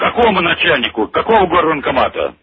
какому начальнику какого горвоенкомата